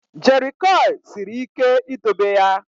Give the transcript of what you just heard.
Jerrycurl siri ike idobe ya.